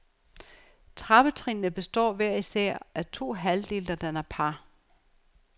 Trappetrinnene består hver især af to halvdele, der danner par.